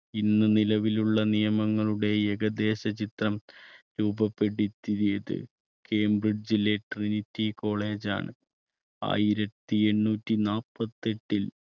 ഇന്ന് നിലവിലുള്ള നിയമങ്ങളുടെ ഏകദേശ ചിത്രം രൂപപ്പെടുത്തിയത് കേംബ്രിഡ്ജിലെ trinity college ആണ്. ആയിരത്തി എണ്ണൂറ്റി നാല്പത്തെട്ടിൽ